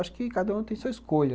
Acho que cada um tem sua escolha.